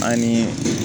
Anii